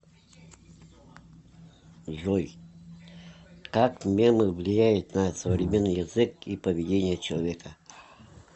джой как мемы влияют на современный язык и поведение человека